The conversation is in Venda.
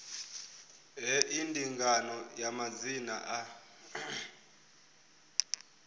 hei ndinganyo ya madzina a